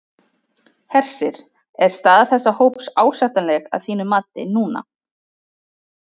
Hersir: Er staða þessa hóps ásættanleg að þínu mati núna?